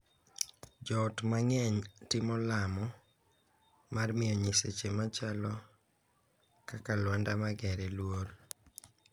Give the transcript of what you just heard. Joot mang'eny timo lamo, mar miyo nyiseche machalo kaka Luanda magere luor.